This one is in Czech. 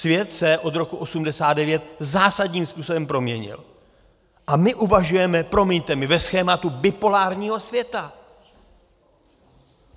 Svět se od roku 1989 zásadním způsobem proměnil a my uvažujeme, promiňte mi, ve schématu bipolárního světa!